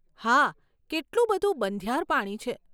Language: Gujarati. હા, કેટલું બધું બંધિયાર પાણી છે.